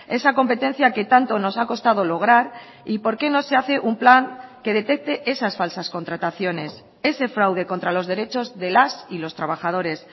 esa competencia que tanto nos ha costado lograr y por qué no se hace un plan que detecte esas falsas contrataciones ese fraude contra los derechos de las y los trabajadores